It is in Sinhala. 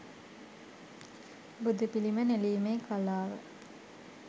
බුදුපිළිම නෙළීමේ කලාව